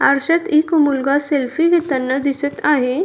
आरशात एक मुलगा सेल्फी घेताना दिसत आहे.